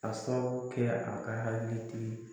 Ka sababu kɛ a ka hakili tigi